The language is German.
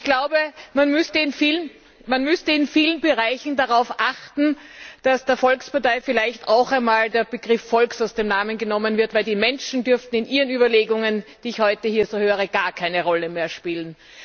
Ich glaube, man müsste in vielen Bereichen darauf achten, dass der Volkspartei vielleicht auch einmal der Begriff Volk aus dem Namen genommen wird, denn die Menschen dürften in Ihren Überlegungen, die ich heute hier so höre, gar keine Rolle mehr spielen.